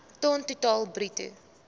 ton totaal bruto